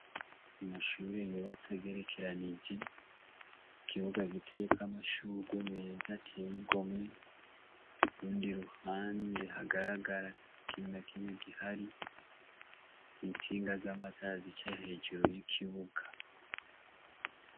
Amashure yubatse agerekeranije ikibuga giteyeko amashugwe meza ateye igomwe urundi ruhande rugaragara atakintu nakimwe gihari intsinga z'amatara zica hejuru y' ikibuga.